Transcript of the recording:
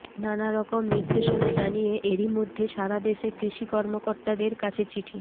নানারকম নির্দেশনা জানিয়ে এরই মধ্যে সারাদেশে কৃষি কর্মকর্তাদের কাছে চিঠি